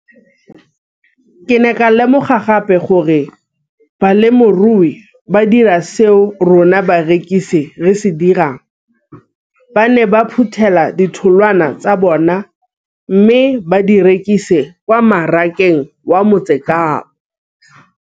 Ke ne ka lemoga gape gore balemirui ba dira seo rona barekisi re se dirang ba ne ba phuthela ditholwana tsa bona mme ba di rekisa kwa marakeng wa Motsekapa.